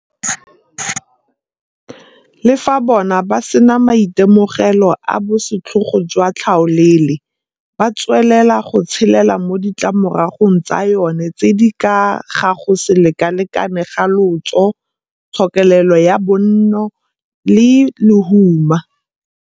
Le fa bona ba sena maitemogelo a bosetlhogo jwa tlhaolele, ba tswelela go tshelela mo ditlamoragong tsa yona tse di ka ga go se lekalekaneng ga lotso, tshokelelo ya bonno le lehuma.